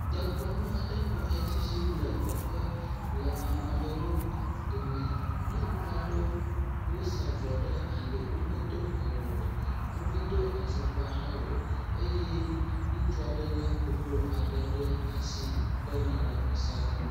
Dekɔnu aɖe nɔ edzi yim le teƒe le ame aɖewo dome. Nyɔnu aɖewo wosa avɔ ɖe ali womedo awu. Womedo afɔkpa hã o eye ŋutsu aɖe le koklo aɖe ɖe asi wokɔ yi na vɔ sa ge.